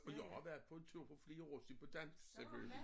Og jeg har været på tur for flere år siden på dansk selvfølgelig